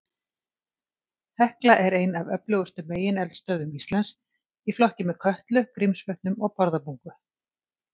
Hekla er ein af öflugustu megineldstöðvum Íslands, í flokki með Kötlu, Grímsvötnum og Bárðarbungu.